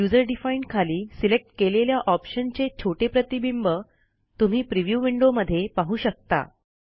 user defined खाली select केलेल्या ऑप्शनचे छोटे प्रतिबिंब तुम्ही प्रिव्ह्यू विंडो मध्ये पाहू शकता